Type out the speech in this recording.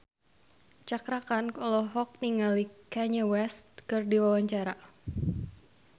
Cakra Khan olohok ningali Kanye West keur diwawancara